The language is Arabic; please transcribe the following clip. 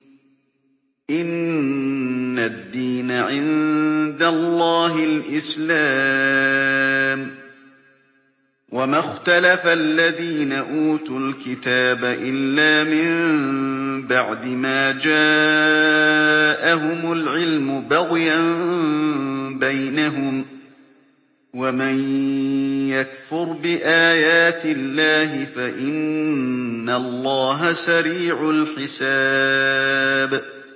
إِنَّ الدِّينَ عِندَ اللَّهِ الْإِسْلَامُ ۗ وَمَا اخْتَلَفَ الَّذِينَ أُوتُوا الْكِتَابَ إِلَّا مِن بَعْدِ مَا جَاءَهُمُ الْعِلْمُ بَغْيًا بَيْنَهُمْ ۗ وَمَن يَكْفُرْ بِآيَاتِ اللَّهِ فَإِنَّ اللَّهَ سَرِيعُ الْحِسَابِ